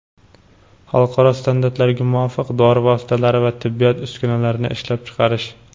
xalqaro standartlarga muvofiq dori vositalari va tibbiyot uskunalarini ishlab chiqarish;.